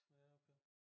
Ja okay